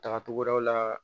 Tagacogo wɛrɛw la